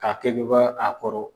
K'a kɛ kɛ kɛ a kɔrɔ.